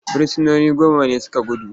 Firsinoni goma ne su ka gudu.